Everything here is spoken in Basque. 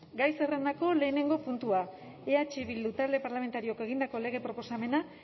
gai zerrendako lehenengo puntua eh bildu talde parlamentarioak egindako lege proposamena